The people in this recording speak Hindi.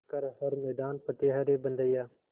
कर हर मैदान फ़तेह रे बंदेया